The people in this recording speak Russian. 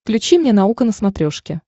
включи мне наука на смотрешке